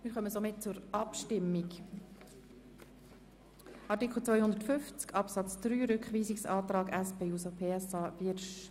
Wir kommen zur Abstimmung über Artikel 250 Absatz 3, dem Rückweisungsantrag der SP-JUSO-PSAFraktion.